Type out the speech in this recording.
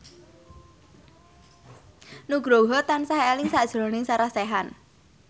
Nugroho tansah eling sakjroning Sarah Sechan